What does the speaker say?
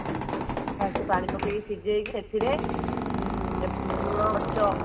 first ପାଣି ପକେଇକି ସିଝେଇକି ସେଥିରେ ନୁଣ